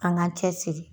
An k'an cɛ siri